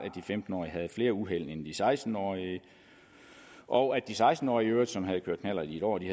at for flere ulykker end de seksten årige og at de seksten årige som havde kørt knallert i et år i